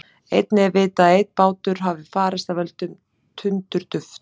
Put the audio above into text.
Einnig er vitað að einn bátur hafi farist af völdum tundurdufls.